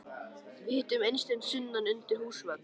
Við hittum Eystein sunnan undir húsvegg.